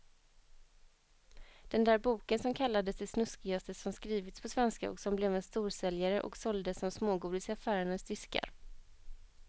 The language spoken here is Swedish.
Den där boken som kallades det snuskigaste som skrivits på svenska och som blev en storsäljare och såldes som smågodis i affärernas diskar.